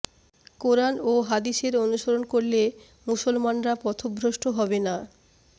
কুরআন ও হাদিসের অনুসরণ করলে মুসলমানরা পথভ্রষ্ট হবে না